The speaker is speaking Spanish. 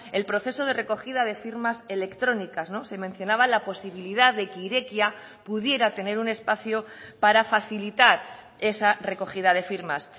el proceso de recogida de firmas electrónicas se mencionaba la posibilidad de que irekia pudiera tener un espacio para facilitar esa recogida de firmas